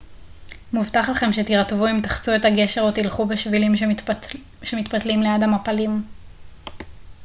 מובטח לכם שתירטבו אם תחצו את הגשר או תלכו בשבילים שמתפתלים ליד המפלים